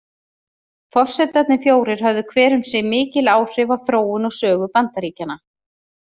Forsetarnir fjórir höfðu hver um sig mikil áhrif á þróun og sögu Bandaríkjanna.